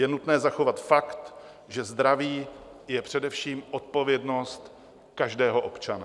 Je nutné zachovat fakt, že zdraví je především odpovědnost každého občana.